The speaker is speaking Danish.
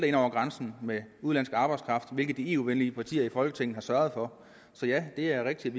ind over grænsen med udenlandsk arbejdskraft hvilket de eu venlige partier i folketinget har sørget for så ja det er rigtigt